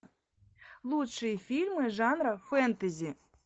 лучшие фильмы жанра фэнтези